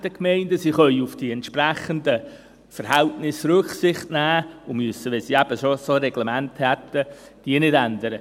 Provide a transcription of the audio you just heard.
Sie können auf die entsprechenden Verhältnisse Rücksicht nehmen und müssten, wenn sie solche Reglemente schon haben, diese nicht ändern.